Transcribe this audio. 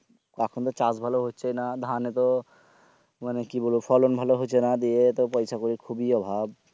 এখন তো চাষ ভালো হচ্ছে না ধানে তো মানে কি বলবো ফলন ভালো হচ্ছে না দিয়ে পয়সা করির খুবই অভাব